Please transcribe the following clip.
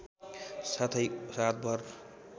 साथै रातभर